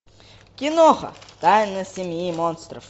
киноха тайна семьи монстров